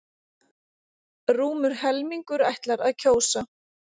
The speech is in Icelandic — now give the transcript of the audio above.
Rúmur helmingur ætlar að kjósa